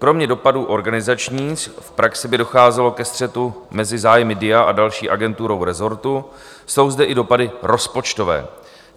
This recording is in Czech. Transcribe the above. Kromě dopadů organizačních v praxi by docházelo ke střetu mezi zájmy DIA a další agenturou rezortu, jsou zde i dopady rozpočtové.